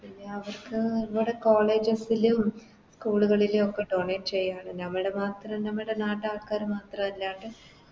പിന്നെ അവർക്ക് College ലും School കളിലു ഒക്കെ Donate ചെയ്യാ നമ്മുടെ മാത്രം നമ്മുടെ നാട്ടാൾക്കാര് മാത്രല്ലാണ്ട്